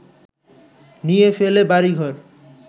নিয়ে ফেলে বাড়িঘর